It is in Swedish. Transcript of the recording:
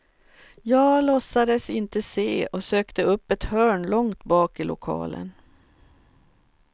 Jag låtsades inte se och sökte upp ett hörn långt bak i lokalen.